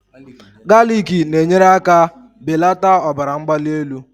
Galiki na-enyere aka belata ọbara mgbali elu